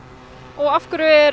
af hverju er